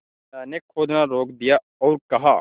बिन्दा ने खोदना रोक दिया और कहा